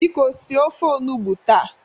Biko sie ofe onugbo taa!